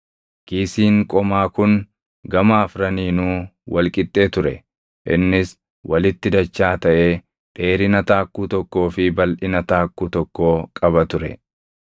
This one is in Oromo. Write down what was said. Kiisiin qomaa kun gama afraniinuu wal qixxee ture; innis walitti dachaa taʼee dheerina taakkuu tokkoo fi balʼina taakkuu tokkoo qaba ture.